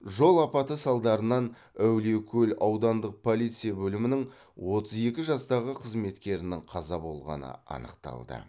жол апаты салдарынан әулиекөл аудандық полиция бөлімінің отыз екі жастағы қызметкерінің қаза болғаны анықталды